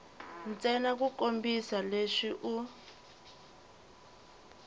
ntsena ku kombisa leswi u